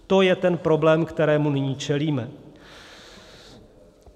To je ten problém, kterému nyní čelíme.